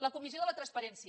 la comissió de la transparència